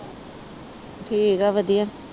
ਠੀਕ ਆ ਵਧੀਆ।